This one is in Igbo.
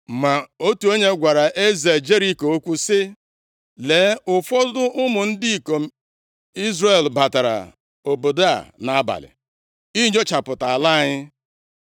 Ma otu onye gwara eze Jeriko okwu sị, “Lee, ụfọdụ ụmụ ndị ikom Izrel batara obodo a nʼabalị inyochapụta ala anyị.”